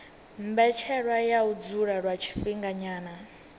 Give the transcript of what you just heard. mbetshelwa ya u dzula lwa tshifhinganyana